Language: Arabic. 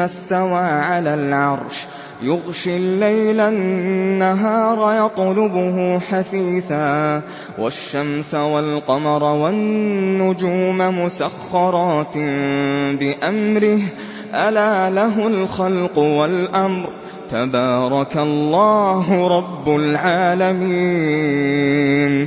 اسْتَوَىٰ عَلَى الْعَرْشِ يُغْشِي اللَّيْلَ النَّهَارَ يَطْلُبُهُ حَثِيثًا وَالشَّمْسَ وَالْقَمَرَ وَالنُّجُومَ مُسَخَّرَاتٍ بِأَمْرِهِ ۗ أَلَا لَهُ الْخَلْقُ وَالْأَمْرُ ۗ تَبَارَكَ اللَّهُ رَبُّ الْعَالَمِينَ